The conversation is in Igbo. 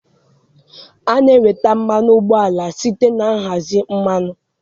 A na-enweta mmanụ ụgbọala site na nhazi mmanụ